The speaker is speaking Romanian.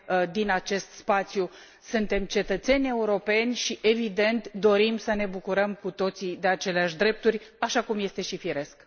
din acest spațiu. Suntem cetățeni europeni și, evident, dorim să ne bucurăm cu toții de aceleași drepturi, așa cum este și firesc.